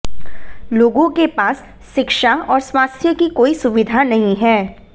लोगों के पास शिक्षा और स्वास्थ्य की कोई सुविधा नहीं है